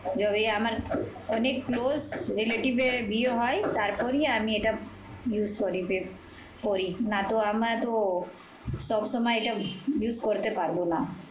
যবে আমার অনেক close relative এর বিয়ে হয় তারপরেই আমি এইটা user করি, পেপরি। নাতো আমরাতো সবসময় use করতে পারবো না।